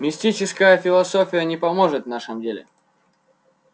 мистическая философия не поможет в нашем деле